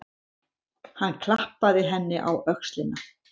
Hann klappaði henni á öxlina.